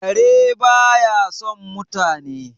kare ba ya son mutane